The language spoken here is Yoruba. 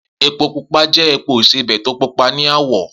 Epo pupa jẹ́ epo ìsebẹ̀ to pupa ni àwọ̀.